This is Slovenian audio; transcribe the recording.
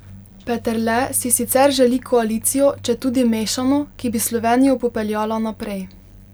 Peterle si sicer želi koalicijo, četudi mešano, ki bi Slovenijo popeljala naprej.